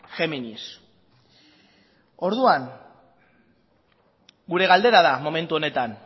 géminis orduan gure galdera da momentu honetan